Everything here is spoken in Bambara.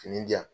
Fini di yan